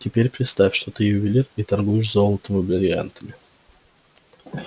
теперь представь что ты ювелир и торгуешь золотом и брильянтами